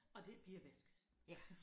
Og det bliver vestkysten